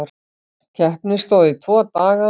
Keppni stóð í tvo daga.